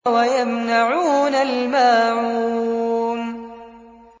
وَيَمْنَعُونَ الْمَاعُونَ